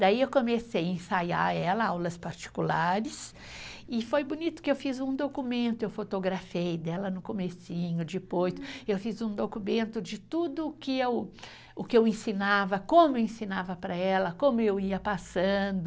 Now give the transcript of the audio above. Daí eu comecei a ensaiar ela aulas particulares e foi bonito que eu fiz um documento, eu fotografei dela no comecinho, depois eu fiz um documento de tudo o que eu, o que eu ensinava, como eu ensinava para ela, como eu ia passando.